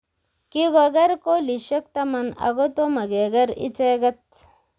Kikoger kolisiek taman ago tomokeger icheket